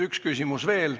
Üks küsimus veel.